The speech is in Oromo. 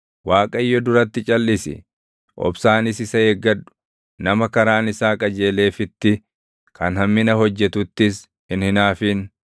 Waaqayyo duratti calʼisi; obsaanis isa eeggadhu; nama karaan isaa qajeeleefitti, kan hammina hojjetuttis hin hinaafin.